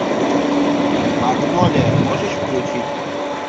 магнолия можешь включить